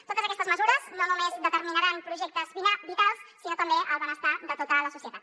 totes aquestes mesures no només determinaran projectes vitals sinó també el benestar de tota la societat